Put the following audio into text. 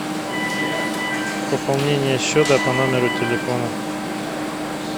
пополнение счета по номеру телефона